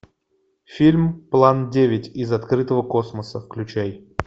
фильм план девять из открытого космоса включай